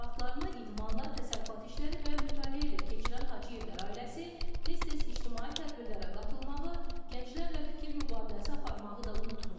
Vaxtlarını idmanla, təsərrüfat işləri və mütaliə ilə keçirən Hacıyevlər ailəsi tez-tez ictimai tədbirlərə qatılmağı, gənclərlə fikir mübadiləsi aparmağı da unutmurlar.